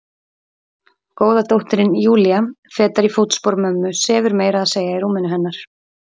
Góða dóttirin Júlía, fetar í fótspor mömmu, sefur meira að segja í rúminu hennar.